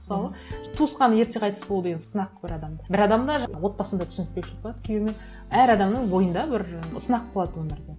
мысалы туысқаны ерте қайтыс болды енді сынақ бір адамда бір адамда жаңа отбасында түсініспеушілік болады кійеуімен әр адамның бойында бір сынақ болады өмірде